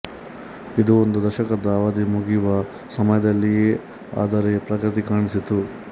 ಇದು ಒಂದು ದಶಕದ ಅವಧಿ ಮುಗಿಯುವ ಸಮಯದಲ್ಲಿಯೇ ಅದರೆ ಪ್ರಗತಿ ಕಾಣಿಸಿತು